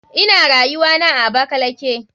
Ina rayuwana a abakalaki.